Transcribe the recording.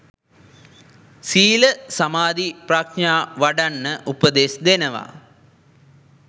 සීල සමාධි ප්‍රඥා වඩන්න උපදෙස් දෙනවා